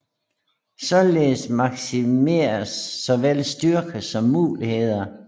Således maksimeres såvel styrker som muligheder